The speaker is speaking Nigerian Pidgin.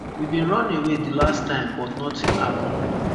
we bin runaway di last time but notin happun